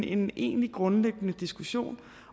en egentlig grundlæggende diskussion